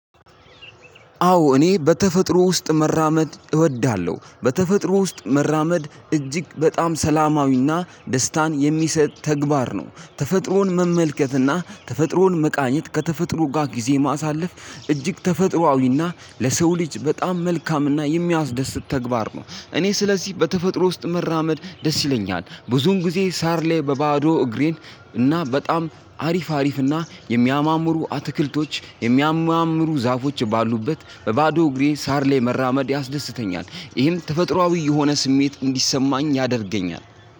አዎ እኔ በተፈጥሮ ውስጥ መራመድ እወዳለሁ በተፈጥሮ ውስጥ መራመድ እጅግ በጣም ሰላማዊና ደስታን የሚሰጥ ተግባር ነው። ተፈጥሮን መመልከትና ተፈጥሮን መመልከት ከተፈጥሮ ጋር ጊዜ ማሳለፍ እጂግተፈጥሮአዊና ለሰው ልጂ እጂግ በጣም እሚያስደስት ተግባር ነው። ስለዚህ በጣም ደስ ይለኛል ብዙን ጊዜ ሳርላይ በባዶ እግሬን እና በጣም አሪፍ አሪፍ እና የሚያማምሩ አትክልቶች የሚያማምሩ ዛፎች ባሉበት በባዶ እግሬ ሳር ላይ መራመድ ያስደስተኛል። ይህም ተፈጥሮአዊ የሆነ ስሜት እንዲሰማኝ ያደርገኛል።